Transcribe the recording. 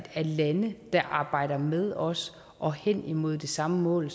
lande der arbejder med os og hen imod det samme mål